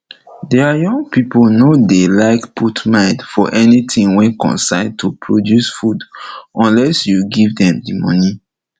deir young pipo nor dey like put mind for anything wey concern to produce food unless u give dem moni